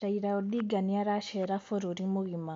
Raila odinga niaracera bururi mugima